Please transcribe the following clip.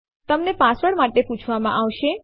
તમે પાસવર્ડ માટે પૂછવામાં આવશે